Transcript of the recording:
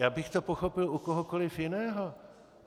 Já bych to pochopil u kohokoliv jiného.